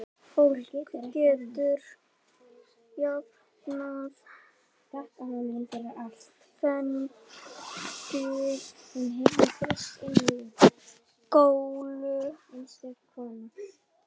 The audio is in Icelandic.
Fólk getur jafnvel fengið gulu.